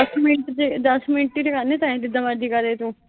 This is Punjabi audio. ਦਸ ਮਿੰਟ, ਦਸ ਮਿੰਟ ਦੀ ਗੱਲ ਨੀਂ, ਟਾਈਮ ਜਿੰਨਾ ਮਰਜ਼ੀ ਲਾਦੀਂ ਤੂੰ।